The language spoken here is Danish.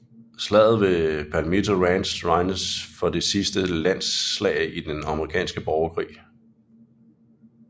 Slaget ved Palmito Ranch regnes for det sidste landslag i den amerikanske borgerkrig